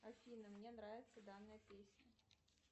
афина мне нравится данная песня